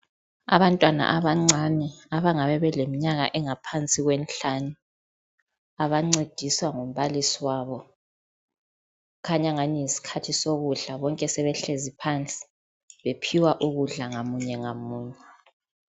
Abantwana abancani abangabe beleminyaka engaphansi kwemihlanu. Abancediswa ngumbalisi wayo khanyangani yisikhathi sokudla bonke sebehlezi phansi bephiwa ukudla ngamunye ngamunye.